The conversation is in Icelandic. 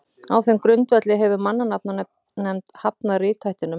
á þeim grundvelli hefur mannanafnanefnd hafnað rithættinum